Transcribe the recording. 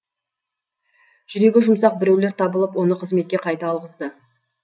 жүрегі жұмсақ біреулер табылып оны қызметке қайта алғызды